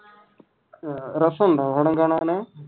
രസമുണ്ടോ പടം കാണാൻ?